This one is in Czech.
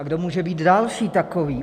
A kdo může být další takový?